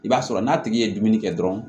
I b'a sɔrɔ n'a tigi ye dumuni kɛ dɔrɔn